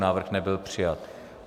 Návrh nebyl přijat.